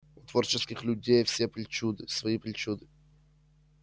у творческих людей все причуды свои причуды